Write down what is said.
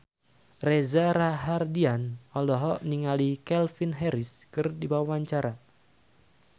Reza Rahardian olohok ningali Calvin Harris keur diwawancara